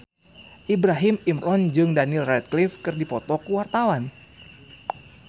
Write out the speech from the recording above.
Ibrahim Imran jeung Daniel Radcliffe keur dipoto ku wartawan